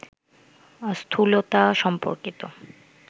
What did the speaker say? স্থূলতা সম্পর্কিত